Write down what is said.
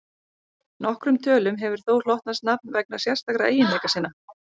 Nokkrum tölum hefur þó hlotnast nafn vegna sérstakra eiginleika sinna.